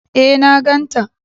E, na ganta.